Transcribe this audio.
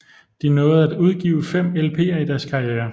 De nåede at udgive fem LPer i deres karriere